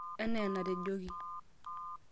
enee enatejoki